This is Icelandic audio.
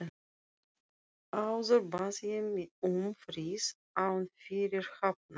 Áður bað ég um frið án fyrirhafnar.